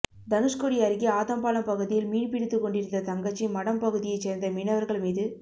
தனுஷ்கோடி அருகே ஆதம்பாலம் பகுதியில் மீன் பிடித்துக் கொண்டிருந்த தங்கச்சி மடம் பகுதியைச் சேர்ந்த மீனவர்கள் மீது